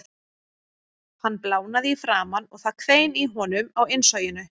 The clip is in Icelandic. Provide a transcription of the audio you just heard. Hann blánaði í framan og það hvein í honum á innsoginu.